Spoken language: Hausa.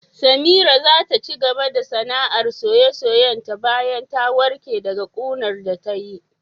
Samira za ta cigaba da sanaar soye-soye ta bayan ta warke daga ƙunar da tayi